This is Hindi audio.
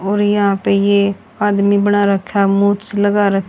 और यहां पे ये आदमी बणा रखा है मूछ लगा र--